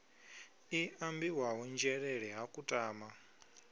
i ambiwaho nzhelele ha kutama